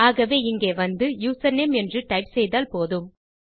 ஆகவே இங்கே வந்து யூசர்நேம் என்று டைப் செய்தால் போதும்